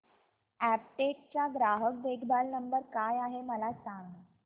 Aptech चा ग्राहक देखभाल नंबर काय आहे मला सांग